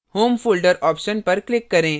home folder option पर click करें